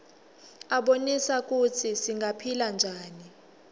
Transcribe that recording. abonisa kutsi singaphila njani